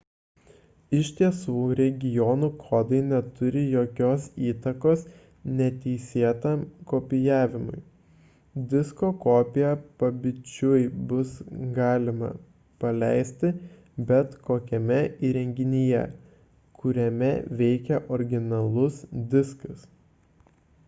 iš tiesų regionų kodai neturi jokios įtakos neteisėtam kopijavimui disko kopiją pabičiui bus galima paleisti bet kokiame įrenginyje kuriame veikia originalus diskas